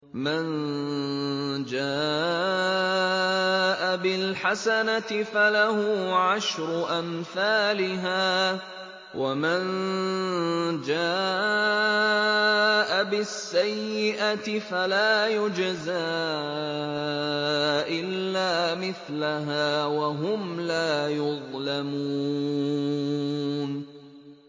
مَن جَاءَ بِالْحَسَنَةِ فَلَهُ عَشْرُ أَمْثَالِهَا ۖ وَمَن جَاءَ بِالسَّيِّئَةِ فَلَا يُجْزَىٰ إِلَّا مِثْلَهَا وَهُمْ لَا يُظْلَمُونَ